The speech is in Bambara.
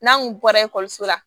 N'an kun bɔra ekɔliso la